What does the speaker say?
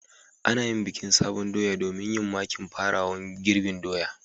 Ana yin bikin sabon doya domin yin makin farawan girbin doya.